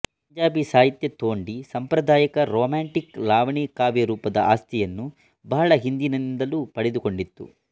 ಪಂಜಾಬಿ ಸಾಹಿತ್ಯ ತೋಂಡೀ ಸಂಪ್ರದಾಯದ ರೊಮ್ಯಾಂಟಿಕ್ ಲಾವಣಿ ಕಾವ್ಯ ರೂಪದ ಆಸ್ತಿಯನ್ನು ಬಹಳ ಹಿಂದಿನಿಂದಲೂ ಪಡೆದುಕೊಂಡಿತ್ತು